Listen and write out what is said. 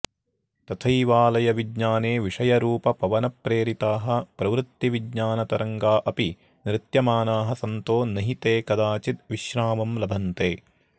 तथैवाऽऽलयविज्ञाने विषयरूपपवनप्रेरिताः प्रवृत्तिविज्ञानतरङ्गा अपि नृत्यमानाः सन्तो नहि ते कदाचिद् विश्रामं लभन्ते